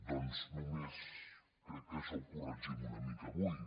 doncs crec que això ho corregim una mica avui